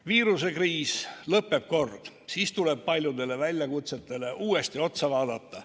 Viirusekriis lõpeb kord ja siis tuleb paljudele väljakutsetele uuesti otsa vaadata.